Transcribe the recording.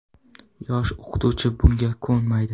Yosh o‘qituvchi bunga ko‘nmaydi.